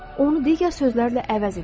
Onu digər sözlərlə əvəz edin.